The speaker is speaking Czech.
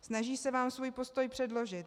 Snaží se vám svůj postoj předložit.